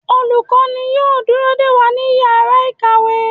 Olukọni yóò dúró dẹ wa ní ìyára ikáwe